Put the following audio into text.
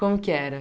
Como que era?